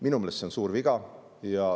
Minu meelest see on suur viga.